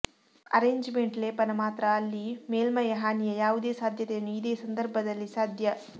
arrangement ಲೇಪನ ಮಾತ್ರ ಅಲ್ಲಿ ಮೇಲ್ಮೈ ಹಾನಿಯ ಯಾವುದೇ ಸಾಧ್ಯತೆಯನ್ನು ಇದೆ ಸಂದರ್ಭದಲ್ಲಿ ಸಾಧ್ಯ